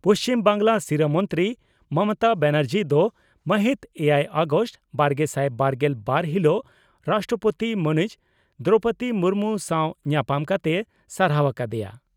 ᱯᱩᱪᱷᱤᱢ ᱵᱟᱝᱜᱽᱞᱟ ᱥᱤᱨᱟᱹ ᱢᱚᱱᱛᱨᱤ ᱢᱚᱢᱚᱛᱟ ᱵᱟᱱᱟᱨᱡᱤ ᱫᱚ ᱢᱟᱹᱦᱤᱛ ᱮᱭᱟᱭ ᱟᱜᱚᱥᱴ ᱵᱟᱨᱜᱮᱥᱟᱭ ᱵᱟᱨᱜᱮᱞ ᱵᱟᱨ ᱦᱤᱞᱚᱜ ᱨᱟᱥᱴᱨᱚᱯᱳᱛᱤ ᱢᱟᱹᱱᱤᱡ ᱫᱨᱚᱣᱯᱚᱫᱤ ᱢᱩᱨᱢᱩ ᱥᱟᱣ ᱧᱟᱯᱟᱢ ᱠᱟᱛᱮᱭ ᱥᱟᱨᱦᱟᱣ ᱟᱠᱟ ᱫᱮᱭᱟ ᱾